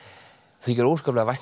þykir óskaplega vænt